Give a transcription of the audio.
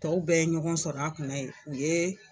Tɔw bɛɛ ye ɲɔgɔn sɔrɔ a kunna ye u ye.